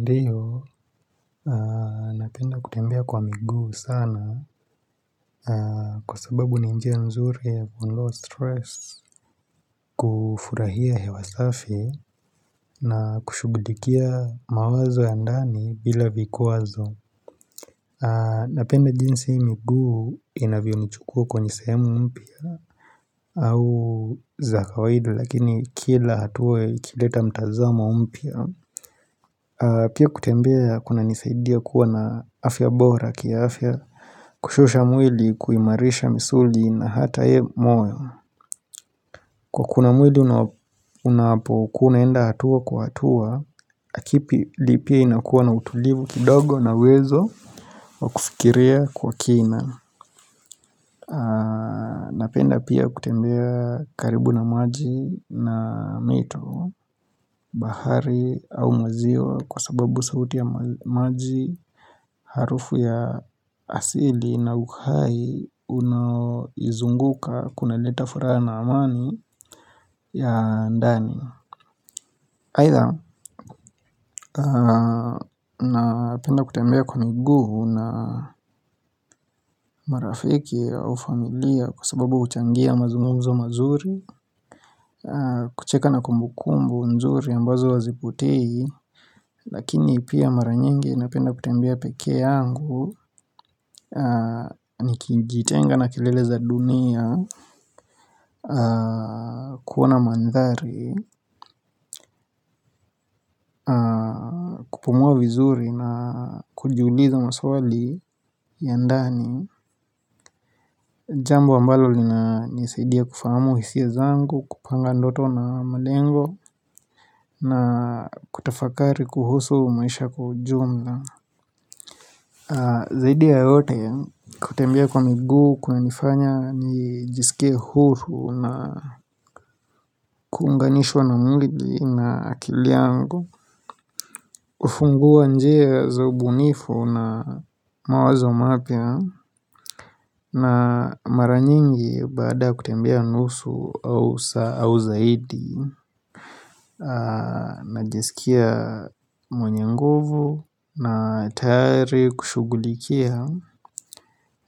Ndio napenda kutembea kwa miguu sana kwa sababu ni njia nzuri ya kulower stress kufurahia hewa safi na kushughulikia mawazo ya ndani bila vikuwazo napenda jinsi miguu inavyonichukua kwenye sehemu mpya au za kawahidi lakini kila hatua ikileta mtazamo mpya Pia kutembea kunanisaidia kuwa na afya bora kiafya Kushusha mwili kuimarisha misuli na hata ye moyo kuna mwili unapokuwa unaenda hatua kwa hatua kipi li pia inakuwa na utulivu kidogo na uwezo wa kufikiria kwa kina Napenda pia kutembea karibu na maji na mito bahari au maziwa kwa sababu sauti ya maji Harufu ya asili na uhai unaonizunguka kunaleta furaha na amani ya ndani aitha, napenda kutembea kwa miguu na marafiki au familia Kwa sababu huchangia mazungumzo mazuri kucheka na kumbukumbu nzuri ambazo hazipotei Lakini pia mara nyingi napenda kutembea pekee yangu Nikijitenga na kilele za dunia kuona mandhari kupumua vizuri na kujiuliza maswali ya ndani Jambo ambalo linanisaidia kufahamu hisia zangu kupanga ndoto na malengo na kutafakari kuhusu maisha kwa ujumla Zaidi ya yote kutembea kwa miguu kunanifanya nijisikie huru na kuunganishwa na mwili na akili yangu hufungua njia za ubunifu na mawazo mapya na mara nyingi baada kutembea nusu au zaidi najisikia mwenye nguvu na tayari kushughulikia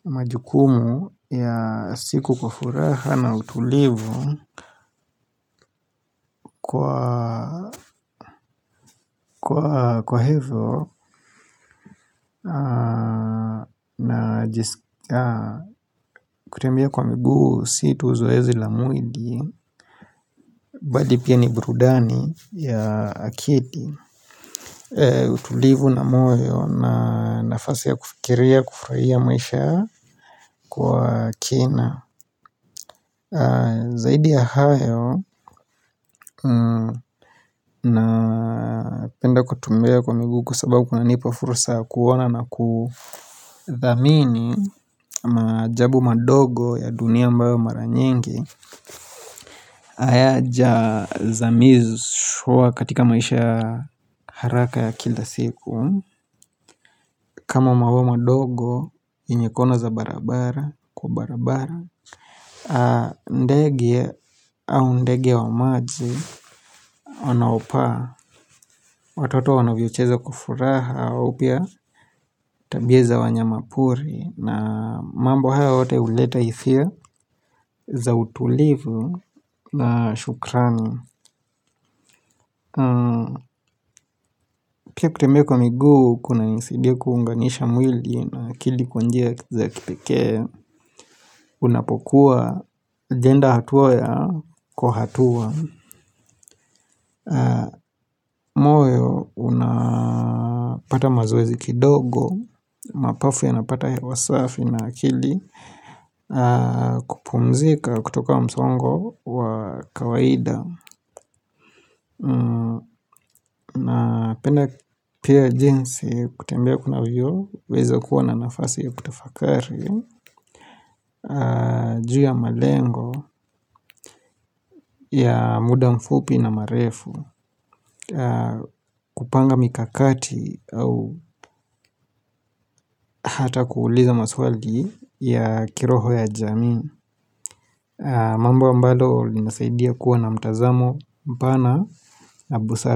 majukumu ya siku kwa furaha na utulivu Kwa hivyo na kutembea kwa miguu si tu zoezi la mwili bali pia ni burudani ya akili utulivu na moyo na nafasi ya kufikiria kufurahia maisha kwa kina Zaidi ya hayo napenda kutembea kwa miguu kwa sababu kunanipa fursa ya kuona na kudhamini Majaabu madogo ya dunia ambayo mara nyingi hayajazamishwa katika maisha ya haraka ya kila siku kama maua madogo yenye kona za barabara kwa barabara ndege au ndege wa maji unaopaa Watoto wanavyocheza kwa furaha au pia tabia za wanyama pori na mambo haya yote huleta hisia za utulivu na shukrani pia kutembea kwa miguu kunanisidia kuunganisha mwili na akili kwa njia za kipekee unapokuwa ajenda hatua ya kwa hatua moyo unapata mazoezi kidogo mapafu yanapata hewa safi na akili kupumzika kutoka wa msongo wa kawaida napenda pia jinsi kutembea kunavyo weza kuwa na nafasi ya kutafakari juu ya malengo ya muda mfupi na marefu kupanga mikakati au hata kuuliza maswali ya kiroho ya jamii mambo ambalo linasaidia kuwa na mtazamo mpana na busara.